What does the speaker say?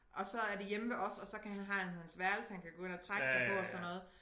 Og så er det hjemme ved os og så kan har han hans værelse han kan gå ind og trække sig på og sådan noget